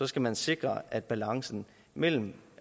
skal man sikre at balancen mellem